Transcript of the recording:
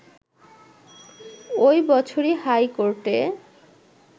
ওই বছরই হাইকোর্টে